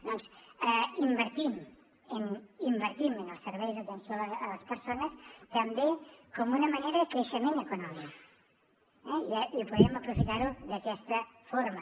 doncs invertim en els serveis d’atenció a les persones també com una manera de creixement econòmic eh i ho podríem aprofitar d’aquesta forma